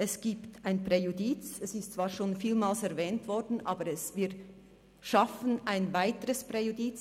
Es gibt ein Präjudiz, es ist zwar schon vielmals erwähnt worden, aber wir schaffen ein weiteres Präjudiz.